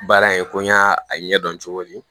Baara in ko n y'a ɲɛdɔn cogo min